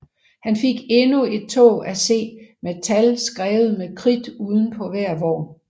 Han fik endnu et tog at se med tal skrevet med kridt uden på hver vogn